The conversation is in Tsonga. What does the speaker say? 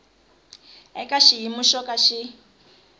eka xiyimo xo ka xi